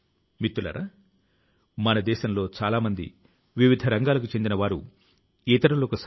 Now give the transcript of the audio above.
ఈ సంవత్సరం చాలా పుస్తకాల ను చదివాను అని గర్వంగా చెప్పుకొనే వారి ని ఈ రోజుల్లో చూస్తున్నాను